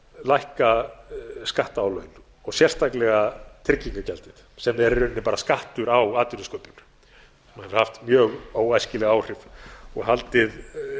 reynslunni að lækka skattaálögin og sérstaklega tryggingagjaldið sem er í raun skattur á atvinnusköpun og hefur haft mjög óæskileg áhrif og haldið